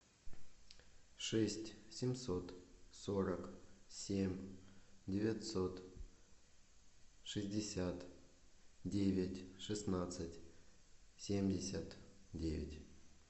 шесть семьсот сорок семь девятьсот шестьдесят девять шестнадцать семьдесят девять